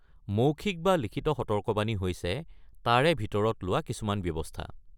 মৌখিক বা লিখিত সতৰ্কবাণী হৈছে তাৰে ভিতৰত লোৱা কিছুমান ব্যৱস্থা।